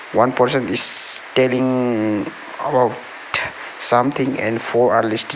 one person is telling um about something and four are listeni --